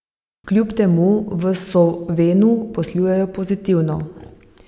Kljub temu v Sovenu poslujejo pozitivno.